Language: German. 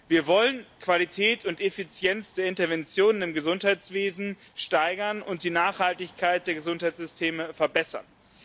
Wir wollen Qualität und Effizienz der Interventionen im Gesundheitswesen steigern und die Nachhaltigkeit der Gesundheitssysteme verbessern.